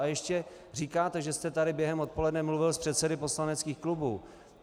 A ještě říkáte, že jste tady během odpoledne mluvil s předsedy poslaneckých klubů.